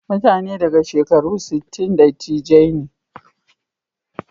Mutane daga shekaru sittin da dattijai ne.